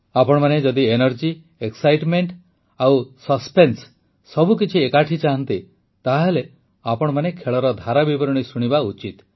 ଆପଣମାନେ ଯଦି energy excitement ଓ ସସ୍ପେନ୍ସ ସବୁ କିଛି ଏକାଠି ଚାହାନ୍ତି ତାହେଲେ ଆପଣମାନେ ଖେଳର ଧାରାବିବରଣୀ ଶୁଣିବା ଉଚିତ